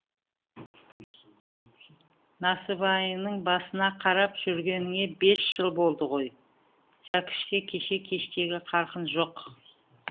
насыбайыңның басына қарап жүргеніңе бес жыл болды ғой сөкіште кеше кештегі қарқын жоқ